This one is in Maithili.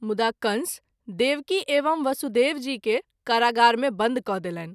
मुदा कंस देवकी एवं वसुदेव जी के कारागार मे बंद क’ देलनि।